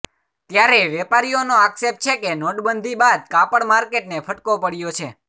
ત્યારે વેપારીઓનો આક્ષેપ છે કે નોટબંધી બાદ કાપડ માર્કેટને ફટકો પડ્યો છે